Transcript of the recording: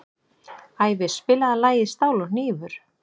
Ævi, spilaðu lagið „Stál og hnífur“.